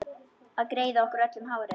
Að greiða okkur öllum hárið.